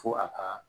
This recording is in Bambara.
Fo a ka